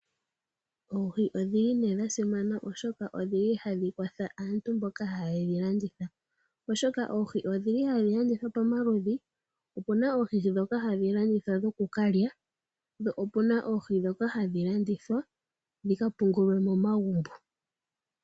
Oohi odhili nee dha simana oshoka ohadhi kwatha aantu mboka haye dhi landitha. Oshoka oohi ohadhi landithwa pamaludhi. Opu na oohi ndhoka hadhi landithwa dhokukalya, po opu na oohi ndhoka hadhi landithwa dhi ka pungulwe momagumbo.